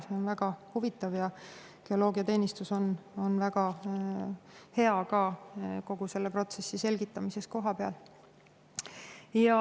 See on väga huvitav ja geoloogiateenistus on väga hea ka kogu protsessi selgitamises kohapeal.